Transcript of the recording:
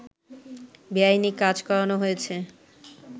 বেআইনি কাজ করানো হয়েছে